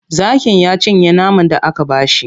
Zakin ya cinye naman da aka ba shi.